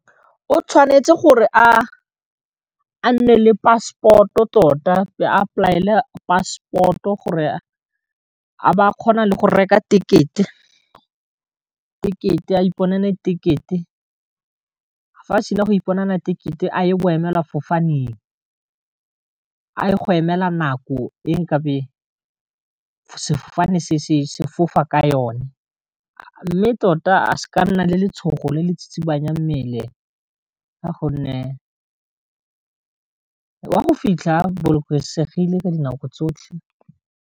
O tshwanetse gore a nne le passport-o tota a ipolaela passport-o gore a ba a kgona le go reka ticket-e a iponele ticket-e fa a sena go iponela ticket-e a ye boemela fofaneng, a ye go emela nako e nkabe sefofane se sefofane ka yone, mme tota se ka nna le letshogo le le tsitsibanyang mmele ka gonne wa go fitlha a bolokesegile ka dinako tsotlhe.